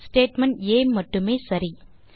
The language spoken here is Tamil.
ஸ்டேட்மெண்ட் ஆ மட்டுமே சரி